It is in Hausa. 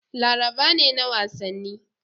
Laraba ne na wasanni.